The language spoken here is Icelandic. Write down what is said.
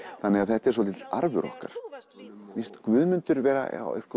þannig að þetta er svolítill arfur okkar mér finnst Guðmundur vera